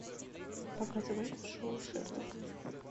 показывай шоу шерлок